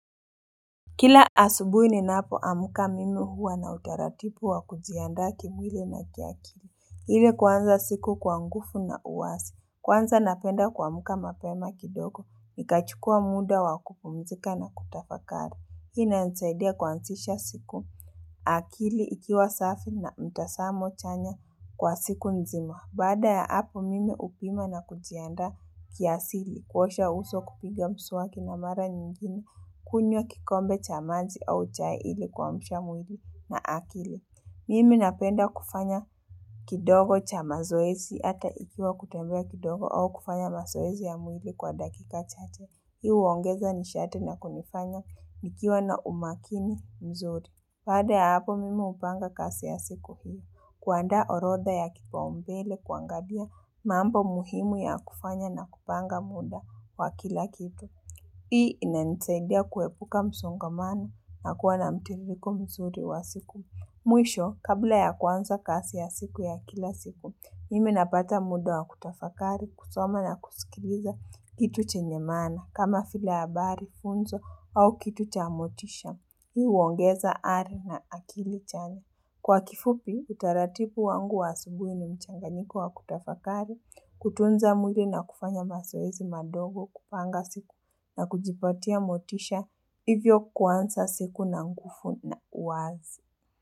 Kila asubuhi ninapoamka mimi huwa na utaratibu wa kujiandaa kimwili na kiakili. Ile kuanza siku kwa nguvu na uwazi. Kwanza napenda kuamka mapema kidogo. Nikachukua muda wa kupumzika na kutafakari. Hii inanisaidia kuanzisha siku, akili ikiwa safi na mtazamo chanya kwa siku nzima. Baada ya hapo mimi hupima na kujianda kiasili. Kuosha uso, kupiga mswaki na mara nyingine. Kunywa kikombe cha maji au cha ili kuamsha mwili na akili. Mimi napenda kufanya kidogo cha mazoezi ata ikiwa kutembea kidogo au kufanya mazoezi ya mwili kwa dakika chache. Hii huongeza nisharti na kunifanya nikiwa na umakini mzuri. Baada ya hapo mimi hupanga kazi ya siku hii. Kuanda orodha ya kipau mbele kuangalia mambo muhimu ya kufanya na kupanga muda. Kwa kila kitu. Hii inanisaidia kuepuka msongamano na kuwa na mtiririko mzuri wa siku. Mwisho, kabla ya kwanza kazi ya siku ya kila siku, mimi napata muda wa kutafakari, kusoma na kusikiliza kitu chenye maana kama vile habari, funzo au kitu cha motisha. Hii huongeza ari na akili chanya. Kwa kifupi, utaratibu wangu wa asubuhi ni mchanganyiko wa kutafakari, kutunza mwili na kufanya mazoezi madogo kupanga siku na kujipatia motisha hivyo kuanza siku na nguvu na uwazi.